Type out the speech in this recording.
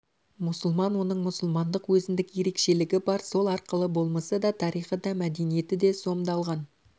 мұсылман оның мұсылмандық өзіндік ерекшелігі бар сол арқылы болмысы да тарихы да мәдениеті де сомдалған